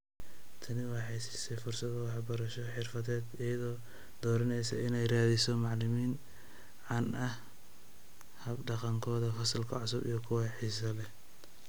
Tani waxay siisay fursado waxbarasho xirfadeed iyadoo dooranaysa inay raadiso macalimiin caan ku ah hab-dhaqankooda fasalka cusub iyo kuwa xiisaha leh.